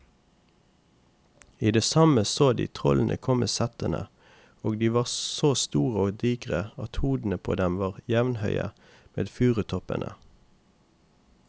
I det samme så de trollene komme settende, og de var så store og digre at hodene på dem var jevnhøye med furutoppene.